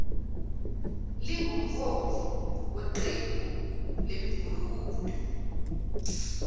lingumholi weqembu lemigulukudu